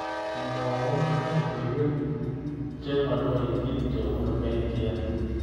Mwawon logoywek chemaloityin chebunu k.t.n